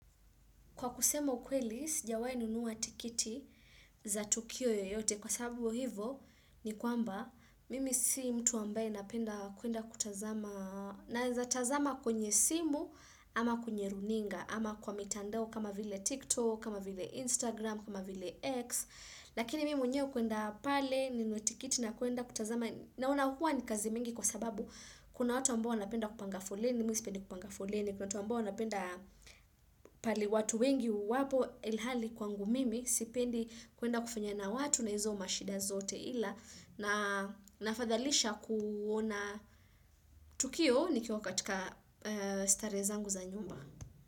Kwa kusema ukweli, sijawai nunuwa tikiti za tukio yoyote. Kwa sababu hivo, ni kwamba, mimi si mtu ambaye napenda kwenda kutazama. Na eza tazama kwenye simu, ama kwenye runinga, ama kwa mitandao kama vile TikTok, kama vile Instagram, kama vile X. Lakini mimi mwenye kwenda pale, ninuwa tikiti na kuenda kutazama. Nauna huwa ni kazi mingi kwa sababu, kuna watu ambao napenda kupanga foleni, misipendi kupanga foleni. Ni kutuwa mbao napenda pali watu wengi wapo ilhali kwangu mimi sipendi kuenda kufanya na watu na hizo mashida zote ila na nafadhalisha kuona tukio ni kiwa katika starehe zangu za nyumba.